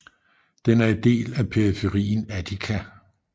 Den er en del af periferien Attica